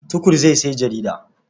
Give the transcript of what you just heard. Tukur zai sayi jarida.